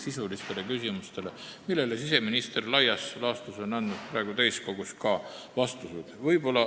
Siseminister andis nendele küsimustele laias laastus siin täiskogus ka vastused.